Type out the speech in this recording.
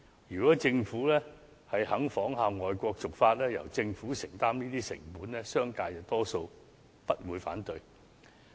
如果政府願意仿效外國的做法，由政府承擔這些成本，商界多數也不會反對。